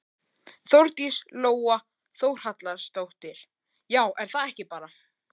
Þórdís Lóa Þórhallsdóttir: Já er það ekki bara?